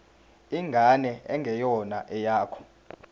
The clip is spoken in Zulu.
ingane engeyona eyakho